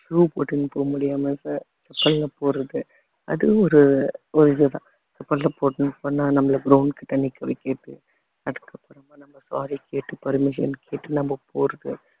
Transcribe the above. shoe போட்டுட்டு போக முடியாம அது ஒரு ஒரு இதுதான் போன நம்மளை ground கிட்ட நிக்க வைக்குறது அதுக்கப்புறமா நம்ம sorry கேட்டு permission கேட்டு நம்ம போறது